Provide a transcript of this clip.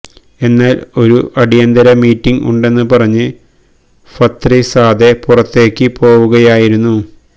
എന്നാൽ ഒരു അടിയന്തര മീറ്റിങ് ഉണ്ടെന്ന് പറഞ്ഞ് ഫത്രിസാദെ പുറത്തേക്ക് പോവുകയായിരുന്നു